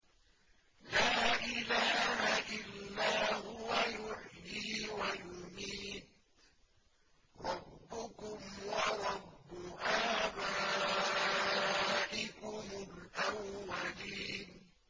لَا إِلَٰهَ إِلَّا هُوَ يُحْيِي وَيُمِيتُ ۖ رَبُّكُمْ وَرَبُّ آبَائِكُمُ الْأَوَّلِينَ